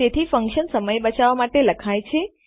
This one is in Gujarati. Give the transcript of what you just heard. તેથી ફન્કશન સમય બચાવવા માટે લખાયેલ છે